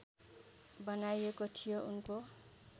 बनाइएको थियो उनको